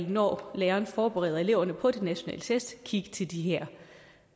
når læreren forbereder eleverne på de nationale test vel kigge til de her